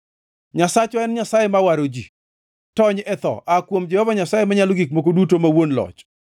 Nyasachwa en Nyasaye ma waro ji; tony e tho aa kuom Jehova Nyasaye Manyalo Gik Moko Duto ma Wuon Loch.